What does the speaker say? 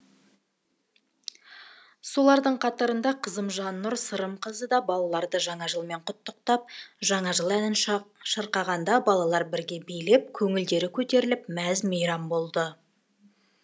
солардың қатарында қызым жаннұр сырымқызы да балаларды жаңа жылмен құттықтап жаңа жыл әнін шырқағанда балалар бірге билеп көңілдері көтеріліп мәз мейрам болды